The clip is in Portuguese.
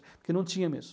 Porque não tinha mesmo.